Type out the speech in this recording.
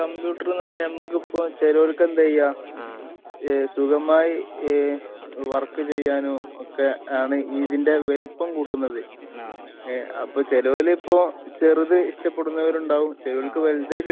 Computer എന്ന് പറഞ്ഞാൽ നമുക്കിപ്പോ ചെലോര്ക്ക് എന്താ ചെയ്യാ ആഹ് ഏഹ് സുഖമായി ഏഹ് വർക്ക് ചെയ്യാനും ഒക്കെ ആണ് ഇതിന്റെ വലുപ്പം കൂട്ടുന്നത്. അപ്പൊ ചെലോല് ഇപ്പൊ ചെറുത് ഇഷ്ടപ്പെടുന്നവരുണ്ടാവും. ചെലോൽക്ക് വലുത്